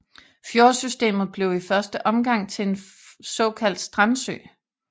Fjordsystemet blev i første omgang til en såkaldt strandsø